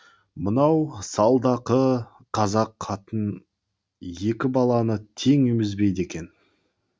мынау салдақы қазақ қатын екі баланы тең емізбейді екен